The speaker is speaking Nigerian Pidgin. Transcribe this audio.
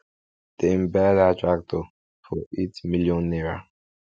dem buy dat tractor for eight million naira